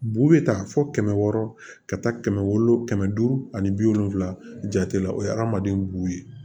Bu bɛ taa fɔ kɛmɛ wɔɔrɔ ka taa kɛmɛ wolo kɛmɛ duuru ani bi wolonfila jate la o ye adamaden b'u ye